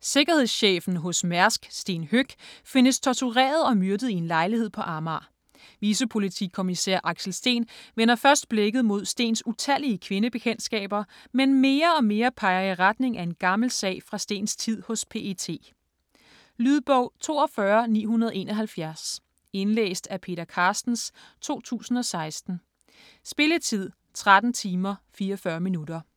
Sikkerhedschefen hos Mærsk Sten Høeck findes tortureret og myrdet i en lejlighed på Amager. Vicepolitikommissær Axel Steen vender først blikket mod Stens utallige kvindebekendtskaber, men mere og mere peger i retning af en gammel sag fra Stens tid hos PET. Lydbog 42971 Indlæst af Peter Carstens, 2016. Spilletid: 13 timer, 44 minutter.